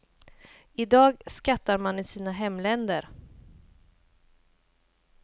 I dag skattar man i sina hemländer.